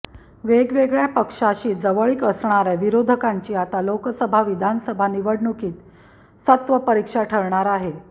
वेगवेगळ्या पक्षाशी जवळीक असणाऱया विरोधकांची आता लोकसभा विधानसभा निवडणुकीत सत्वपरिक्षा ठरणार आहे